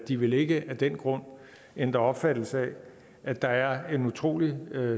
de vil ikke af den grund ændre opfattelsen af at der er en utrolig